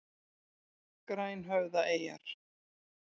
Grænhöfðaeyjar